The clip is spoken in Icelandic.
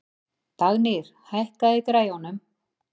Dagnýr, hækkaðu í græjunum.